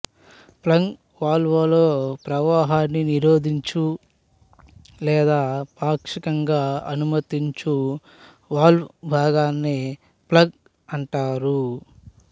plug వాల్వులో ప్రవాహాన్ని నిరోధించు లేదా పాక్షికంగా అనుమతించు వాల్వు భాగాన్ని ప్లగ్ అంటారు